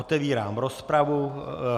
Otevírám rozpravu.